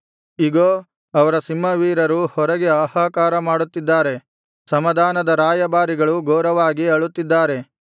ಇಗೋ ಅವರ ಸಿಂಹವೀರರು ಹೊರಗೆ ಹಾಹಾಕಾರ ಮಾಡುತ್ತಿದ್ದಾರೆ ಸಮಾಧಾನದ ರಾಯಭಾರಿಗಳು ಘೋರವಾಗಿ ಅಳುತ್ತಿದ್ದಾರೆ